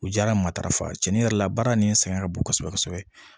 U diyara matarafa cɛnin yɛrɛ la baara nin sɛgɛn ka bon kosɛbɛ kosɛbɛ